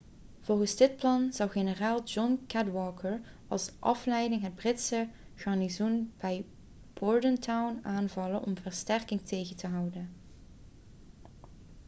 volgens dit plan zou generaal john cadwalder als afleiding het britse garnizoen bij bordentown aanvallen om versterkingen tegen te houden